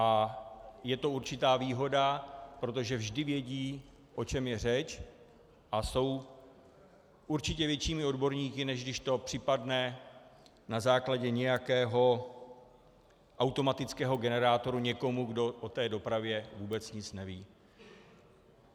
A je to určitá výhoda, protože vždy vědí, o čem je řeč, a jsou určitě většími odborníky, než když to připadne na základě nějakého automatického generátoru někomu, kdo o té dopravě vůbec nic neví.